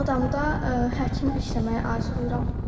Ağdamda həkim işləməyi arzulayıram.